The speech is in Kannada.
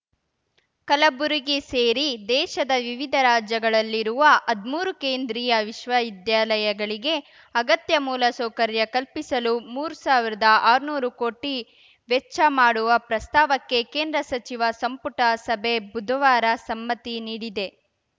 ಕಲಬುರಗಿ ಸೇರಿ ದೇಶದ ವಿವಿಧ ರಾಜ್ಯಗಳಲ್ಲಿರುವ ಹದ್ಮೂರು ಕೇಂದ್ರೀಯ ವಿಶ್ವವಿದ್ಯಾಲಯಗಳಿಗೆ ಅಗತ್ಯ ಮೂಲಸೌಕರ್ಯ ಕಲ್ಪಿಸಲು ಮೂರು ಸಾವಿರದ ಆರ್ನೂರು ಕೋಟಿ ವೆಚ್ಚ ಮಾಡುವ ಪ್ರಸ್ತಾವಕ್ಕೆ ಕೇಂದ್ರ ಸಚಿವ ಸಂಪುಟ ಸಭೆ ಬುಧವಾರ ಸಮ್ಮತಿ ನೀಡಿದೆ